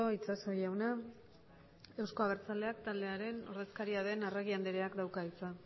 itxaso jauna euzko abertzaleak taldearen ordezkaria den arregi andreak dauka hitza